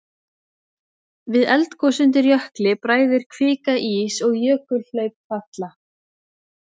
Við eldgos undir jökli bræðir kvika ís og jökulhlaup falla.